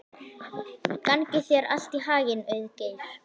Gangi þér allt í haginn, Auðgeir.